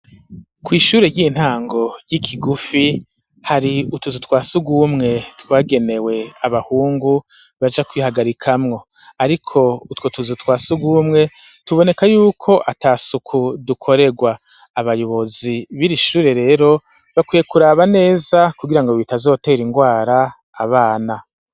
Kw’ishure ry'intango ry'i Kigufi, hari utuzu twa surwumwe twagenewe abahungu, baja kwihagarikamwo, ariko utwo tuzu twa surwumwe, tuboneka y'uko ata suku dukorerwa; abayobozi b'iri shure rero bakwiye kuraba neza, kugira ngo bitazotera ingwara abana.